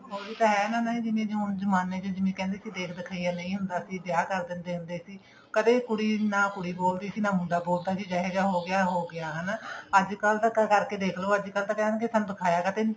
ਉਹੀ ਤਾਂ ਹੈ ਨਾ ਹੁਣ ਜਿਵੇਂ ਕਹਿੰਦੇ ਸੀ ਦੇਖ ਦਖਿਈਆਂ ਨਹੀਂ ਹੁੰਦਾ ਸੀ ਵਿਆਹ ਕਰ ਦਿੰਦੇ ਸੀ ਕਦੇਂ ਕੁੜੀ ਨਾ ਕੁੜੀ ਬੋਲਦੀ ਸੀ ਨਾ ਮੁੰਡਾ ਬੋਲਦਾ ਸੀ ਜਿਹਾ ਜਾ ਹੋਗਿਆ ਹੋਗਿਆ ਹੈਨਾ ਅੱਜਕਲ ਤਾਂ ਧੱਕਾ ਕਰਕੇ ਦੇਖਲੋ ਅੱਜਕਲ ਕਹਿਣਗੇ ਸਾਨੂੰ ਤਾਂ ਦਿਖਾਇਆਂ ਕਾਤੇ ਨਹੀਂ